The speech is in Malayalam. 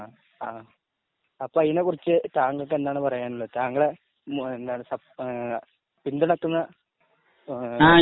അപ്പോൾ അതിനെ കുറിച്ച് താങ്കൾക്ക് എന്താണ് പറയാനുള്ളത്? താങ്കളെ സപ്പോ പിന്തുണയ്ക്കുന്ന